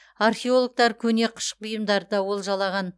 археологтар көне қыш бұйымдарды да олжалаған